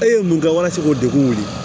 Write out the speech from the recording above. E ye mun kɛ walasa k'o degun wuli